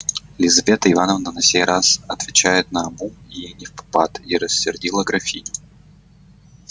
лизавета ивановна на сей раз отвечает наобум и невпопад и рассердила графиню